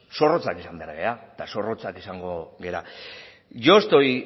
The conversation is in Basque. zorrotzak izan behar gara eta zorrotzak izango gara yo estoy